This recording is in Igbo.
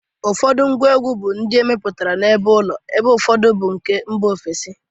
Ụfọdụ ngwa egwu bụ ndị emeputara ebeụlọ ebe ụfọdụ bụ nke mba ofesi.